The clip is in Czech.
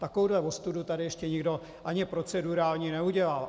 Takovouhle ostudu tady ještě nikdo ani procedurální neudělal.